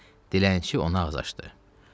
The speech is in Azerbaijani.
Deyə dilənçi ona ağız açdı.